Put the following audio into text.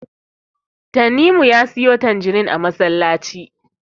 Tanimu ya siyo tanjirin a masallaci.